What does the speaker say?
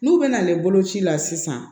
N'u bɛ na ne boloci la sisan